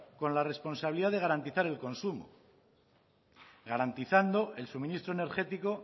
con la responsabilidad de garantizar el consumo garantizando el suministro energético